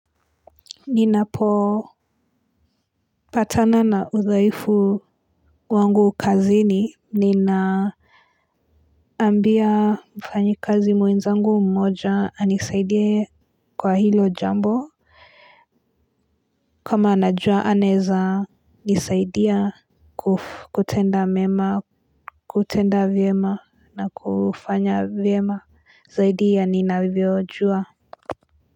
Ninapopatanana udhaifu wangu kazini ninaambia mfanyikazi mwenzangu mmoja anisaidie kwa hilo jambo kama anajua anaeza nisaidia kutenda mema kutenda vyema na kufanya vyema zaidi ya ninavyojua.